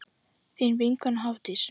Þín vinkona Hafdís.